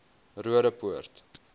roodeport